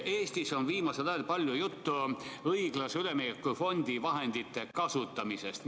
Eestis on viimasel ajal palju juttu õiglase ülemineku fondi vahendite kasutamisest.